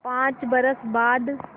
पाँच बरस बाद